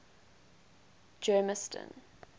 germiston